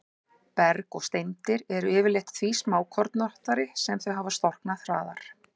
Berg og steindir eru yfirleitt því smákornóttari sem þau hafa storknað hraðar.